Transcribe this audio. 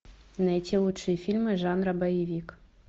найти лучшие фильмы жанра боевик